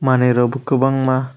manui rok bo kobang ma.